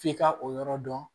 F'i ka o yɔrɔ dɔn